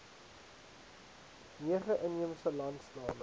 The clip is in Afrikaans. nege inheemse landstale